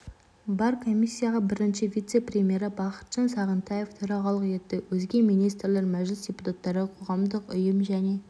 бар комиссияға бірінші вице-премьері бақытжан сағынтаев төрағалық етті өзге министрлер мәжіліс депутаттары қоғамдық ұйым және